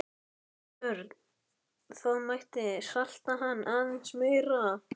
Björn: Það mætti salta hann aðeins meira?